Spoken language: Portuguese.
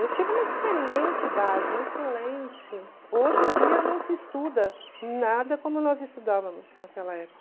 Eu tive uma excelente base, uma excelente... Hoje em dia não se estuda nada como nós estudávamos naquela época.